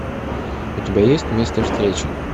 у тебя есть место встречи